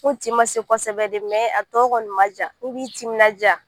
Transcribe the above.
Ko tin ma se kosɛbɛ de a tɔ kɔni man jan i b'i timinadiya